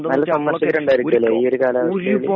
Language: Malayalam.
നല്ല ശമ്പളസ്ഥിരണ്ടായിരിക്കു ലെ ഈ ഒരു കാല